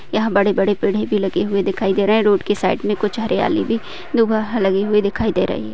यहाँ पर बड़े-बड़े पेड़े भी लगे हुवे दिखाई दे रहे है रोड के साइड मे कुछ हरियाली भी दुभाह लगी हुई दिखाई दे रही है।